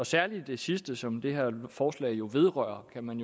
særlig det sidste som det her forslag jo vedrører kan man